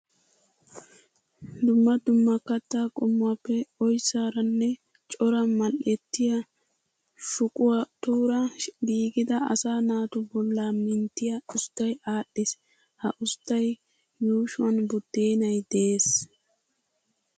Dumma dumma kattaa qommuwappe oyssaara nne cora mal"ettiya shuqotuura giigida asaa naatu bollaa minttiya usttay aadhdhiis. Ha usttaa yuushuwan buddeenay de'es.